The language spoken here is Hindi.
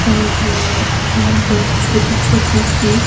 और यहां पर छोटी छोटी सी--